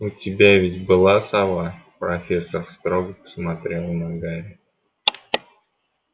у тебя ведь была сова профессор строго посмотрела на гарри